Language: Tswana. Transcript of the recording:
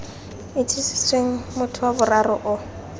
itsisetsweng motho wa boraro o